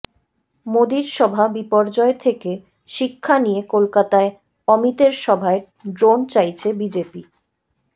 মোদীর সভা বিপর্যয় থেকে শিক্ষা নিয়ে কলকাতায় অমিতের সভায় ড্রোন চাইছে বিজেপি